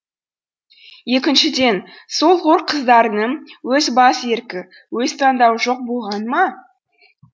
екіншіден сол хор қыздарының өз бас еркі өз таңдауы жоқ болғаны ма